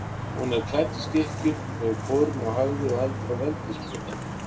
Hún er klædd í skikkju, hefur kórónu á höfði og heldur á veldissprota.